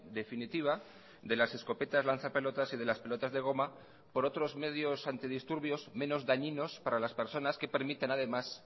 definitiva de las escopetas lanza pelotas y de las pelotas de goma por otros medios antidisturbios menos dañinos para las personas que permitan además